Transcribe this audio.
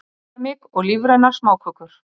Keramik og lífrænar smákökur